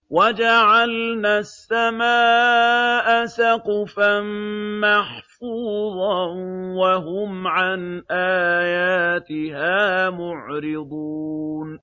وَجَعَلْنَا السَّمَاءَ سَقْفًا مَّحْفُوظًا ۖ وَهُمْ عَنْ آيَاتِهَا مُعْرِضُونَ